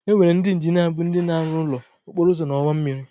Enwere ndị injinia bụ ndị na-arụ ụlọ, okporouzo na ọwa mmịrị.